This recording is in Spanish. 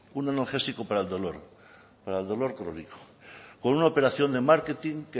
un analgésico para el dolor crónico con una operación de marketing